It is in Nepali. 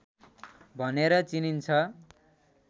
भनेर चिनिन्छ।